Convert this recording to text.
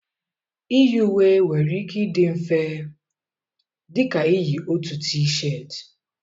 Iyi uwe nwere ike ịdị mfe dị ka iyi otu t-shirt.